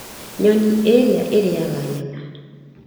Nyoni ĩrĩa ĩrĩĩaga nyama.